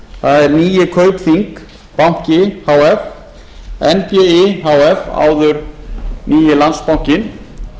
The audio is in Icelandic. það er nýi kaupþing banki h f nbi h f áður nýi landsbankinn